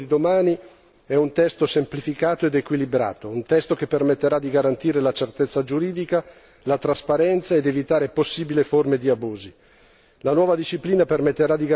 Il testo che approveremo con il voto di domani è un testo semplificato ed equilibrato, un testo che permetterà di garantire la certezza giuridica, la trasparenza ed evitare possibili forme di abusi.